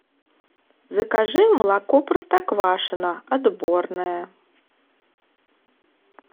закажи молоко простоквашино отборное